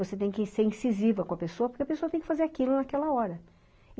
Você tem que ser incisiva com a pessoa, porque a pessoa tem que fazer aquilo naquela hora.